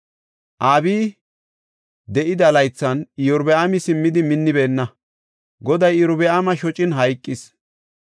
Abiyi de7ida laythan Iyorbaami simmidi minnibeenna. Goday Iyorbaama shocin hayqis.